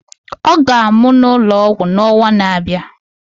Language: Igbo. Ọ ga-amụ n'ụlọ ọgwụ n'ọnwa na-abịa.